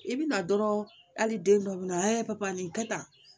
I bi na dɔrɔn hali den dɔ bɛna nin kɛ tan